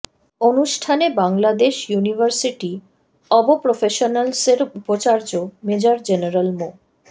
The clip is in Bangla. অনুষ্ঠানে বাংলাদেশ ইউনিভার্সিটি অব প্রফেশনালসের উপাচার্য মেজর জেনারেল মো